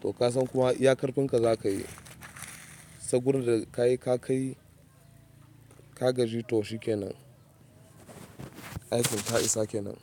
to ka san kuma iya ƙarfin ka za ka yi. Sai gurin da ka kai, ka gaji to shikenan aikin ya isa kenan.